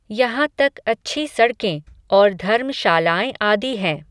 यहां तक अच्छी सड़कें और धर्मशालाऐं आदि हैं.